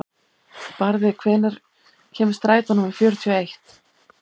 Barði, hvenær kemur strætó númer fjörutíu og eitt?